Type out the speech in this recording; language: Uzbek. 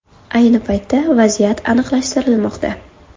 Ayni paytda vaziyat aniqlashtirilmoqda.